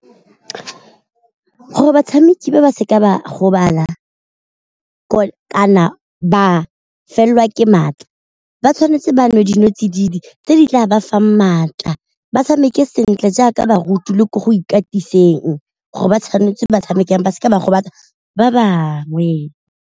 Gore batshameki ba ba seka ba gobala kana ba felelwa ke maatla ba tshwanetse ba nwe dinotsididi tse di tla ba fang maatla, ba tshameke sentle jaaka baruti le ko go ikatisa teng gore ba tshwanetse ba tshamekang ba seka ba gobatsa ba bangwe.